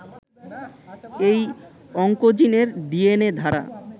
এই অংকোজিনের ডিএনএ ধারা